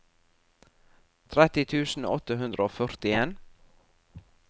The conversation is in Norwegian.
tretti tusen åtte hundre og førtien